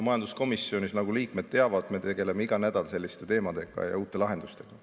Majanduskomisjonis, nagu liikmed teavad, me tegeleme iga nädal selliste teemadega ja uute lahendustega.